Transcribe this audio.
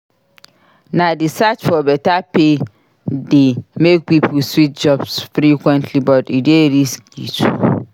Na di search for beta pay dey make pipo switch jobs frequently but e dey risky too.